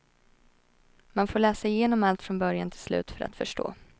Man får läsa igenom allt från början till slut för att förstå.